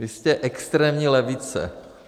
Vy jste extrémní levice.